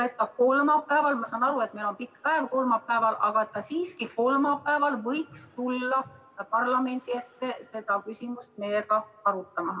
Kolmapäeval – ma saan aru, et meil on kolmapäeval pikk päev, aga siiski – võiks ta tulla parlamendi ette seda küsimust meiega arutama.